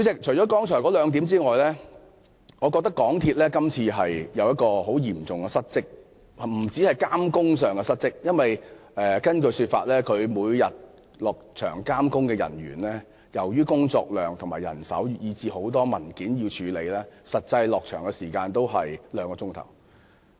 除了上述兩點外，我認為港鐵公司今次嚴重失職，不單在監工上失職......根據港鐵公司的說法，他們到場監工的人員，由於工作量和人手問題，以及有很多文件需要處理，每天實際在場監工的時間只有兩個小時。